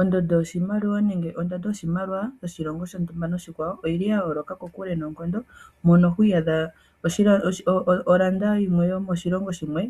Ondondo yoshimaliwa nenge ondando yoshimaliwa yoshilongo shontumba noshikwawo oyili ya yooloka kokule noonkondo, mono hwii yadha olanda yimwe yomoshilongo shimwe